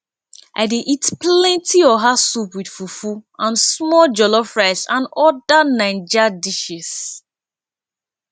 i dey eat plenty oha soup with fufu and small jollof rice and oda naijas dishes